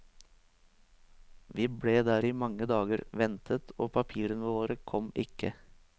Vi ble der i mange dager, ventet, og papirene våre kom ikke.